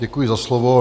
Děkuji za slovo.